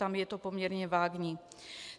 Tam je to poměrně vágní.